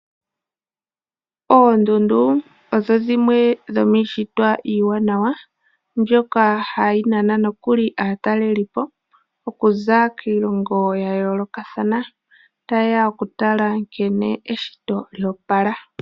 Oondundu odho dhimwe dhomiishitwa iiwanawa, ndjoka hayi nana nokuli aatalelipo okuza kiilongo yayoolokathana, taye ya okutala nkene eshito lyoopala.